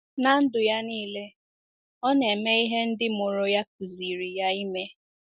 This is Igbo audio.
Ná ndụ ya nile, o na-eme ihe ndị mụrụ ya kụziiri ya ime.